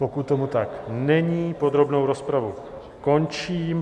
Pokud tomu tak není, podrobnou rozpravu končím.